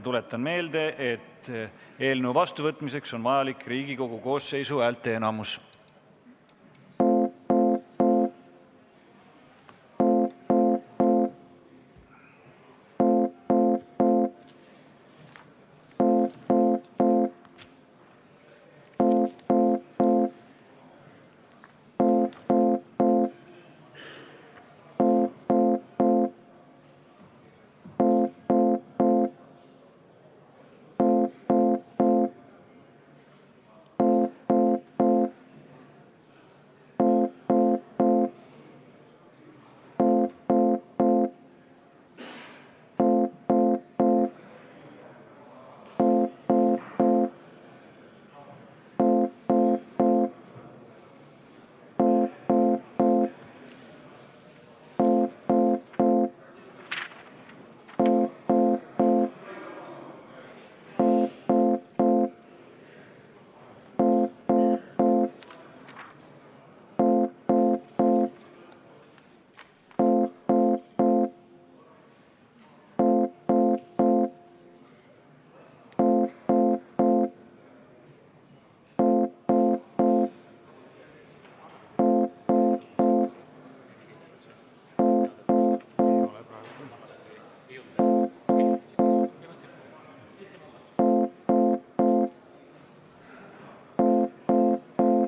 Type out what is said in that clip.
Tuletan meelde, et eelnõu seadusena vastuvõtmiseks on vaja Riigikogu koosseisu häälteenamust.